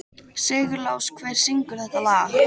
Sigurlás, hver syngur þetta lag?